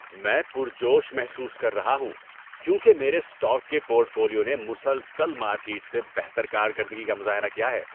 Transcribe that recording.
میں پرجوش محسوس کر رہا ہوں کیونکہ میرے اسٹاک کے پورٹ فولیو نے مسلسل مارکیٹ سے بہتر کارکردگی کا مظاہرہ کیا ہے۔